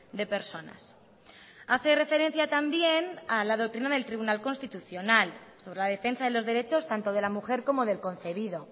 de personas hace referencia también a la doctrina del tribunal constitucional sobre la defensa de los derechos tanto de la mujer como del concebido